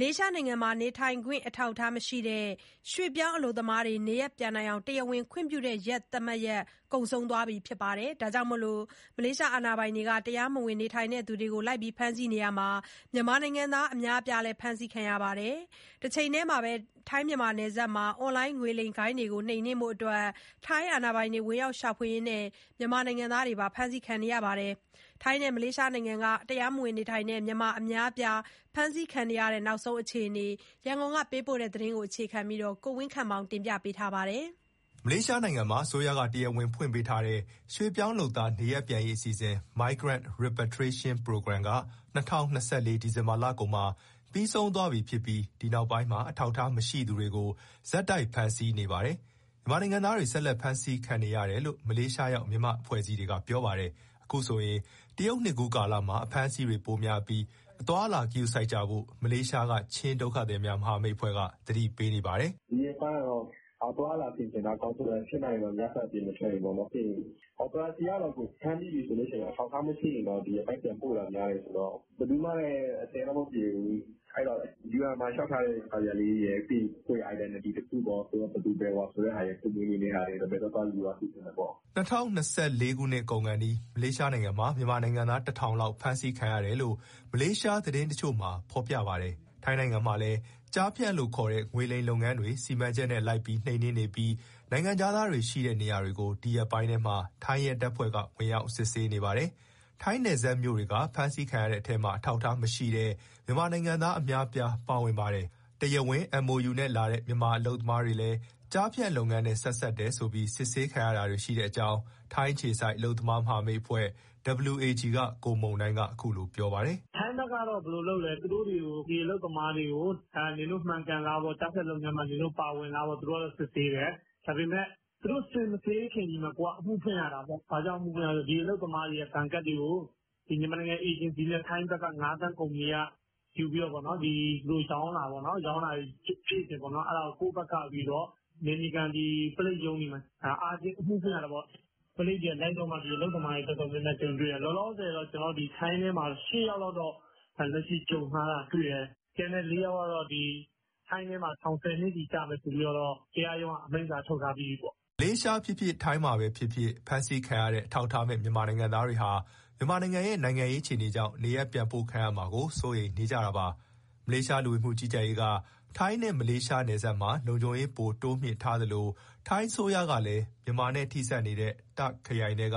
လေးရှားနိုင်ငံမှာ နေထိုင်ခွင့် အထောက်အထားမရှိတဲ့ ရွှေ့ပြောင်းအလုပ်သမားတွေ နေရပ်ပြန်နိုင်အောင် တရားဝင်ခွင့်ပြုတဲ့ သတ်မှတ်ရက် ကုန်ဆုံးသွားပြီးနောက် တရားမဝင် နေထိုင်သူတွေကို ဖမ်းဆီးနေရာမှာ မြန်မာနိုင်ငံသား အများအပြားလည်း ပါဝင်နေပါတယ်။ တချိန်တည်းမှာပဲ ထိုင်းနယ်စပ်မှာ အွန်လိုင်း ငွေလိမ်ဂိုဏ်းတွေကို နှိမ်နှင်းဖို့ ဝင်ရောက်ရှာဖွေရင်း မြန်မာနိုင်ငံသားတွေ ဖမ်းဆီးခံနေရတာပါ။ ထိုင်းနဲ့ မလေးရှားနိုင်ငံတွေက နောက်ဆုံးအခြေအနေနဲ့ ပတ်သက်လို့ ရန်ကုန်က သတင်းပေးပို့ ထားပါတယ်။ မလေးရှားမှာ အစိုးရက တရားဝင်ဖွင့်ပေးထားတဲ့ ရွှေ့ပြောင်းလုပ်သား နေရပ်ပြန်ရေး အစီအစဉ် (Migrant Repatriation Program) က ၂၀၂၄ ဒီဇင်ဘာလကုန်မှာ ပြီးဆုံးသွားပြီဖြစ်ပြီး ဒီနောက်ပိုင်းမှာ အထောက်အထား မရှိသူတွေကို ဆက်တိုက်ဖမ်းဆီးနေပါတယ်။ မြန်မာနိုင်ငံသားတွေ ဆက်တိုက် ဖမ်းဆီးခံနေရတယ်လို့ မလေးရှားရောက် မြန်မာအဖွဲ့အစည်းတွေက ပြောပါတယ်။ အခုဆိုရင် တရုတ်နှစ်သစ်ကူးကာလမှာ အဖမ်းဆီးတွေပိုများပြီး အသွားအလာ ဂရုစိုက်ကြဖို့ မလေးရှားက ချင်းဒုက္ခသည်များ မဟာမိတ်အဖွဲ့ က သတိပေးနေပါတယ်။ "ဒီရက်ပိုင်းကတော့ အသွားအလာဆင်ခြင်တာ အကောင်းဆုံးပဲ။ ဖြစ်နိုင်ရင် ညဘက် အပြင်မထွက်ရင်ပေါ့။ Operasi ကတော့ ဖမ်းမိပြီဆိုရင်တော့ မထောက်အထား မရှိရင် ဒီအတိုင်းပြန်ပို့တာ များတယ်ဆိုတော့ ဘယ်သူမှလည်း အဆင်တော့မပြေဘူး။ အဲဒီတော့ UN မှာလျှောက်ထားတဲ့ စာရွက်လေးရယ် ပြီးရင် ကိုယ့်ရဲ့ identity တခုခုပေါ့ ဘယ်သူဘယ်ဝါ ဆိုတဲ့ဟာရယ် ဘယ်သွားသွား ယူသွားစေချင်တယ်ပေါ့။" ၂၀၂၄ နှစ်ကုန်ခါနီး မလေးရှားနိုင်ငံမှာ မြန်မာနိုင်ငံသား ၁,၀၀၀ လောက် ဖမ်းဆီးခံရတယ်လို့ မလေးရှား သတင်းတချို့မှာ ဖေါ်ပြပါတယ်။ ထိုင်းနိုင်ငံမှာလည်း ကျားဖြန့်ခေါ်ငွေလိမ် လုပ်ငန်းတွေကို စီမံချက်နဲ့ လိုက်ပြီး နိမ်နင်းနေပြီး နိုင်ငံခြားသားတွေ ရှိတဲ့ နေရာတွေကို ဒီရက်ပိုင်းထဲမှာ ထိုင်းရဲတပ်ဖွဲ့က ဝင်ရောက်စစ်ဆေးနေပါတယ်။ ထိုင်းနယ်စပ်မြို့တွေက ဖမ်းဆီးခံရတဲ့အထဲမှာ အထောက်အထားမရှိတဲ့ မြန်မာနိုင်ငံသား အများအပြား ပါဝင်ပါတယ်။ တရားဝင် MoU နဲ့လာတဲ့ မြန်မာအလုပ်သမားတွေလည်း ကျားဖြန့်လုပ်ငန်းတွေနဲ့ ဆက်စပ်တယ်ဆိုပြီး စစ်ဆေးခံရတာတွေ ရှိတဲ့အကြောင်း ထိုင်းအခြေစိုက် အလုပ်သမား မဟာမိတ်အဖွဲ့ WAG က ကိုမုန်တိုင်းက ပြောပါတယ်။ "ထိုင်းဘက်က ဘယ်လိုလုပ်လဲဆိုတော့ အလုပ်သမားတွေကို နင်တို့မှန်ကန်လားပေါ့၊ ကျားဖြန့်လုပ်ငန်းမှာ နင်တို့ ပါဝင်လားပေါ့ သူတို့စစ်ဆေးတယ်။ ဒါပေမဲ့ သူတို့ မစစ်ဆေးခင်မှာ ကိုယ်က အမှုဖွင့်ရတာပေါ့ ဘာလို့ဆိုတော့ ဒီအလုပ်သမားတွေရဲ့ ဘဏ်ကတ်တွေကို မြန်မာနိုင်ငံ အေဂျင်စီနဲ့ ထိုင်းငါးဖမ်းကုမ္ပဏီက ယူပြီး သူတို့ရောင်းတာပေါ့။ အဲဒါကို ကိုယ့်ဘက်ကနေ နယ်မြေခံ ပုလိပ်ရုံးတွေမှာ အားချင်း အမှုဖွင့်ရတယ်ပေါ့။ ပုလိပ်တွေလိုက်တော့မှ အလုပ်သမားတွေ တော်တော်များများမှာ ကြုံတွေ့ရတယ်။ လောလောဆယ် ထိုင်းထဲမှာ ရှစ်ယောက်လောက် လက်ရှိကြုံထားတယ်။ ကျန်တဲ့ လေးယောက်ကတော့ ထိုင်းထဲမှာ ထောင်ဆယ်နှစ်စီ ကျမယ်ဆိုပြီးတော့ တရားရုံးက အမိန့်စာ ထုတ်ထားပြီးပြီပေါ့။" မလေးရှားဖြစ်ဖြစ်၊ ထိုင်းမှာဖြစ်ဖြစ် ဖမ်းဆီးခံရတဲ့ အထောက်အထားမဲ့ မြန်မာနိုင်ငံသားတွေဟာ မြန်မာနိုင်ငံရဲ့ နိုင်ငံရေး အခြေအနေကြောင့် နေရပ်ပြန်ပို့ခံရမှာကို စိုးရိမ်နေကြပါတယ်။ မလေးရှား လူဝင်မှုကြီးကြပ်ရေးက ထိုင်းနဲ့ မလေးရှားနယ်စပ်မှာ လုံခြုံရေး ပိုပြီး တိုးမြှင့်ထားသလို ထိုင်းအစိုးရကလည်း မြန်မာနဲ့ ထိစပ်နေတဲ့ တာ့ခ်ခရိုင်ထဲက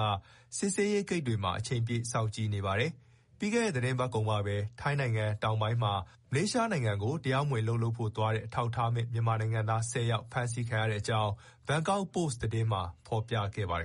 စစ်ဆေးရေးဂိတ်တွေမှာ အချိန်ပြည့် စောင့်ကြည့်နေပါတယ်။ ပြီးခဲ့တဲ့ သီတင်းပတ်ကုန်ကပဲ ထိုင်းနိုင်ငံ တောင်ပိုင်းမှာ မလေးရှားနိုင်ငံကို သွားပြီး တရားမဝင် အလုပ်လုပ်ဖို့ သွားတဲ့ အထောက်အထားမဲ့ မြန်မာနိုင်ငံသား ၁၀ ယောက် ဖမ်းဆီးခံခဲ့ရတဲ့အကြောင်း ဘန်ကောက်ပို့စ် သတင်းစာမှာ ဖေါ်ပြခဲ့ပါတယ်